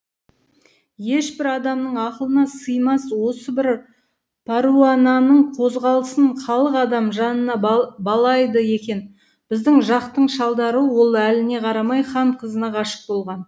ешбір адамның ақылына сыймас осы бір пәруананың қозғалысын халық адам жанына балайды екен біздің жақтың шалдары ол әліне қарамай хан қызына ғашық болған